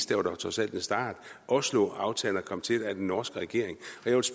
det var dog trods alt en start osloaftalerne kom til med den norske regering